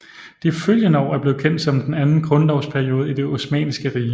De følgende år er blevet kendt som den anden grundlovsperiode i Det osmanniske Rige